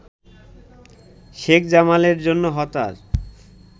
শেখ জামালের জন্য হতাশ